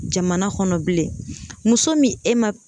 Jamana kɔnɔ bilen muso min e ma